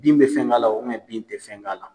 Bin bɛ fɛn k' ala o bin tɛ fɛn k' ala.